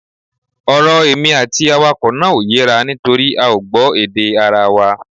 Ọ̀rọ̀ èmi àti awakọ̀ náà ò yéra nítorí a ò gbọ́ èdè ara wa